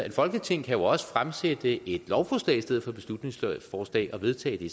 et folketing kan også fremsætte et lovforslag i stedet for et beslutningsforslag og vedtage det